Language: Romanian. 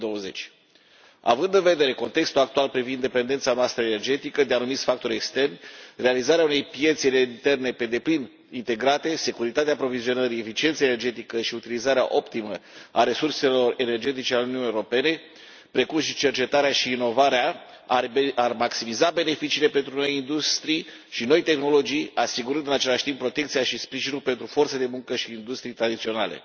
2020. Având în vedere contextul actual privind dependența noastră energetică de anumiți factori externi, realizarea unei piețe interne pe deplin integrate, securitatea aprovizionării, eficiența energetică și utilizarea optimă a resurselor energetice ale Uniunii Europene, precum și cercetarea și inovarea ar maximiza beneficiile pentru noi industrii și noi tehnologii, asigurând în același timp protecția și sprijinul pentru forța de muncă și industriile tradiționale.